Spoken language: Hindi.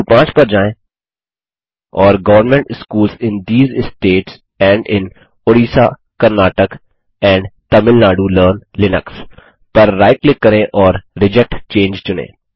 बिंदु 5 पर जाएँ और government schools in these states and in Orissa Karnataka and Tamil Nadu learn Linux पर राइट क्लिक करें और रिजेक्ट चंगे चुनें